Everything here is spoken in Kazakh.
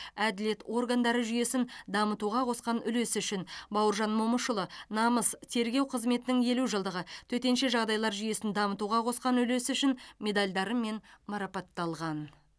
әділет органдары жүйесін дамытуға қосқан үлесі үшін бауыржан момышұлы намыс тергеу қызметінің елу жылдығы төтенше жағдайлар жүйесін дамытуға қосқан үлесі үшін медальдарымен марапатталған